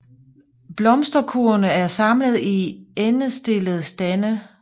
Blomsterkurvene er samlet i endestillede stande